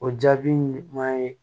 O jaabi ɲuman ye